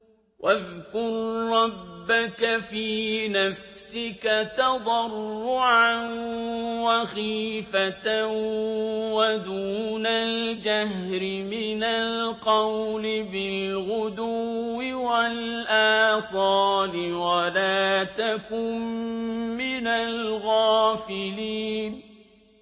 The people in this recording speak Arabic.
وَاذْكُر رَّبَّكَ فِي نَفْسِكَ تَضَرُّعًا وَخِيفَةً وَدُونَ الْجَهْرِ مِنَ الْقَوْلِ بِالْغُدُوِّ وَالْآصَالِ وَلَا تَكُن مِّنَ الْغَافِلِينَ